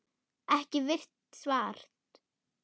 Ekki virt svars?